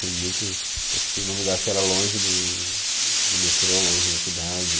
Tem muitos. Eu fiquei em um lugar que era longe do do metrô, longe da cidade.